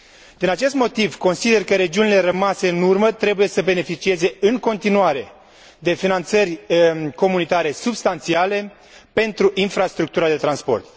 Din acest motiv, consider că regiunile rămase în urmă trebuie să beneficieze, în continuare, de finanțări comunitare substanțiale pentru infrastructura de transport.